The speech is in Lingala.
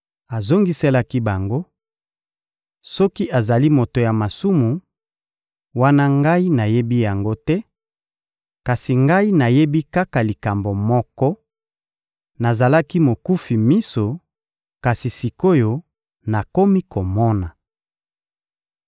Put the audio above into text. Azongiselaki bango: — Soki azali moto ya masumu, wana ngai nayebi yango te; kasi ngai nayebi kaka likambo moko: nazalaki mokufi miso, kasi sik’oyo, nakomi komona.